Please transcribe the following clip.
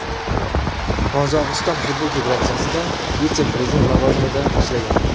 Qozog‘iston futbol federatsiyasida vitse-prezident lavozimida ishlagan.